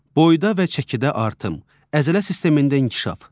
Boyda və çəkidə artım, əzələ sistemində inkişaf.